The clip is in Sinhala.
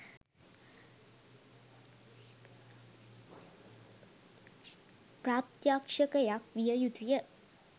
ප්‍රත්‍යක්‍ෂකයක් විය යුතු ය.